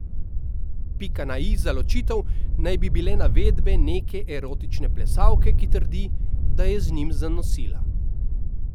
Pika na i za ločitev naj bi bile navedbe neke erotične plesalke, ki trdi, da je z njim zanosila.